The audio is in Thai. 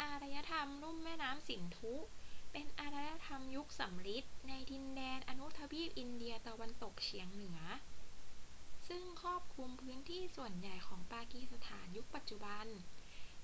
อารยธรรมลุ่มแม่น้ำสินธุเป็นอารยธรรมยุคสำริดในดินแดนอนุทวีปอินเดียตะวันตกเฉียงเหนือ ซึ่งครอบคลุมพื้นที่ส่วนใหญ่ของปากีสถานยุคปัจจุบัน